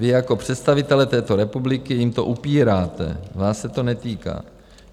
Vy jako představitelé této republiky jim to upíráte, vás se to netýká.